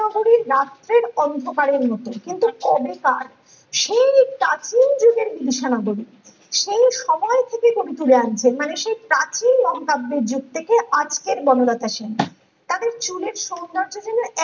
রাত্রির অন্ধকারের মত কিন্তু কবেকার সেই প্রাচীন যুগের বিবিসা নগরী সেই সময় থাকে কবি তুলে আনছেন মানে সেই প্রাচীন মহাকাব্যের জগ থেকে আজকের বনলতা সেন তাদের চুলের সৌন্দর্য যেন